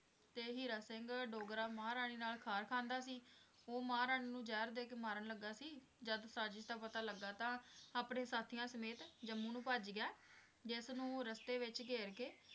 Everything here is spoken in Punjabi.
ਤੇ ਹੀਰਾ ਸਿੰਘ ਡੋਗਰਾ ਮਹਾਰਾਣੀ ਨਾਲ ਖਾਰ ਖਾਂਦਾ ਸੀ, ਉਹ ਮਹਾਰਾਣੀ ਨੂੰ ਜ਼ਹਿਰ ਦੇ ਕੇ ਮਾਰਨ ਲੱਗਾ ਸੀ, ਜਦ ਸਾਜ਼ਿਸ਼ ਦਾ ਪਤਾ ਲੱਗਾ ਤਾਂ ਅਪਣੇ ਸਾਥੀਆਂ ਸਮੇਤ ਜੰਮੂ ਨੂੰ ਭੱਜ ਗਿਆ ਜਿਸ ਨੂੰ ਰਸਤੇ ਵਿਚ ਘੇਰ ਕੇ